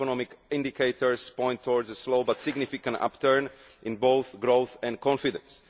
Economic indicators point towards a slow but significant upturn in both growth and confidence.